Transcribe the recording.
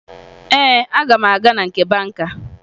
Ee, aga m aga na nke banka